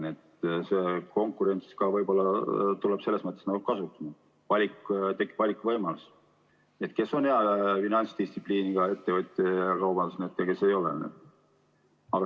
Nii et konkurents võib-olla tuleb kasuks, tekib valikuvõimalus: kes on hea finantsdistsipliiniga kaubandusettevõtja ja kes ei ole.